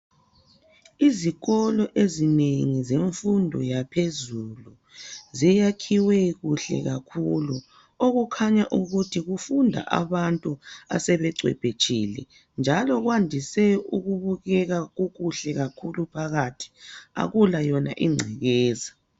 Izikolo ezinengi zemfundo yaphezulu. Ziyakhiwe kuhle kakhulu, okukhanya ukuthi kufunda abantu asebeqeqetshile. Njalo kwandise ukubukeka kukuhle kakhulu phakathi, akula yona ingcekeza.